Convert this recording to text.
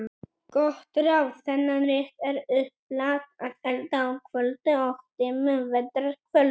Gott ráð: Þennan rétt er upplagt að elda á köldu og dimmu vetrar kvöldi.